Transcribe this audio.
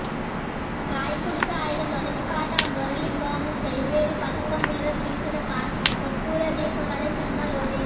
గాయకుడిగా ఆయన మొదటి పాట మురళీ మోహన్ జయభేరి పతాకం మీద తీసిన కర్పూరదీపం అనే సినిమా లోది